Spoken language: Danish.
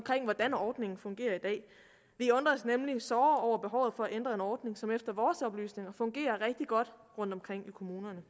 hvordan ordningen fungerer i dag vi undrer os nemlig såre over behovet for at ændre en ordning som efter vores oplysninger fungerer rigtig godt rundtomkring i kommunerne